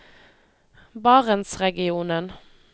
barentsregionen